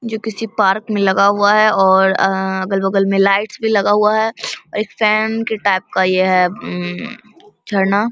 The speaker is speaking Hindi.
ये किसी पार्क में लगा हुआ है और अ अगल-बगल में लाइट्स भी लगा हुआ है एक फैन के टाइप का है ये अ झरना।